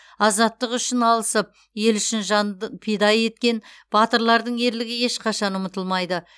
азаттық үшін алысып ел үшін пида еткен батырлардың ерлігі ешқашан ұмытылмайды